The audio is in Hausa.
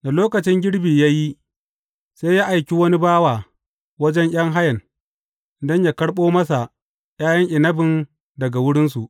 Da lokacin girbi ya yi, sai ya aiki wani bawa wajen ’yan hayan, don yă karɓo masa ’ya’yan inabin daga wurinsu.